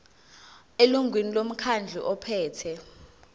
elungwini lomkhandlu ophethe